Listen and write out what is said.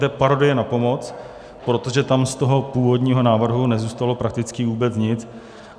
To je parodie na pomoc, protože tam z toho původního návrhu nezůstalo prakticky vůbec nic.